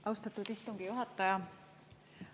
Austatud istungi juhataja!